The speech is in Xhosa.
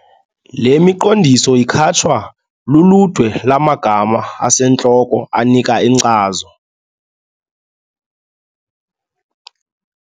Le miqondiso ikhatshwa luludwe lwamagama asentloko anika inkcazo.